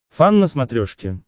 фан на смотрешке